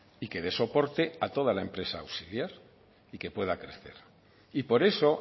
y que dé soporte a toda la empresa auxiliar y que pueda crecer y por eso